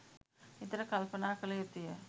නිතර කල්පනා කළ යුතුය.